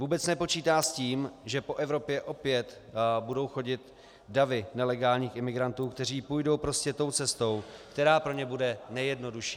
Vůbec nepočítá s tím, že po Evropě opět budou chodit davy nelegálních imigrantů, kteří půjdou prostě tou cestou, která pro ně bude nejjednodušší.